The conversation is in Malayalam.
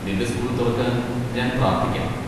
നിന്റെ സ്കൂൾ തുറക്കാൻ ഞാൻ പ്രാർത്ഥിക്കാം.